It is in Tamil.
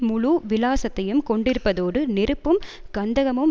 முழு விலாசத்தையும் கொண்டிருப்பதோடு நெருப்பும் கந்தகமும்